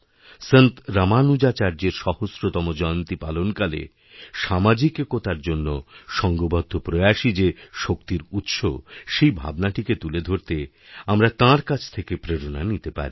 সন্তরামানুজাচার্যের সহস্রতম জয়ন্তী পালনকালে সামাজিক একতার জন্য সঙ্ঘবদ্ধ প্রয়াসই যেশক্তির উৎস সেই ভাবনাটিকে তুলে ধরতে আমরা তাঁর কাছ থেকে প্রেরণা নিতে পারি